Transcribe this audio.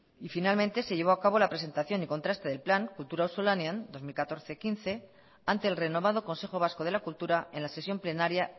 y finalmente se llevó acabo la presentación y contraste del plan kultura auzolanean dos mil catorce dos mil quince ante el renovado consejo vasco de la cultura en la sesión plenaria